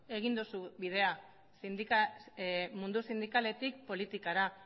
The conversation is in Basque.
egin duzu bidea mundu sindikaletik politikara